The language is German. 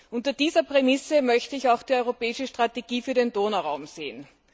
Unter dieser Prämisse möchte ich auch die europäische Strategie für den Donauraum sehen.